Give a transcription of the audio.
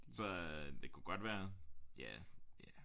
Så øh det kunne godt være ja ja